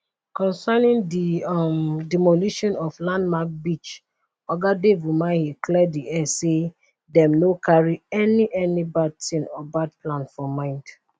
concerning di um demolishing of landmark beach oga dave umahi clear di air say dem no carry any any bad tin or bad plan for mind